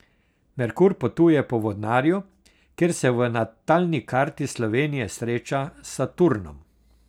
Merkur potuje po vodnarju, kjer se v natalni karti Slovenije sreča s Saturnom.